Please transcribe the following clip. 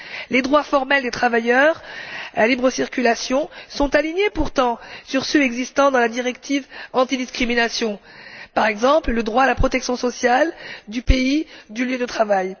Les droits formels des travailleurs à la libre circulation sont pourtant alignés sur ceux existant dans la directive antidiscrimination, par exemple le droit à la protection sociale du pays du lieu de travail.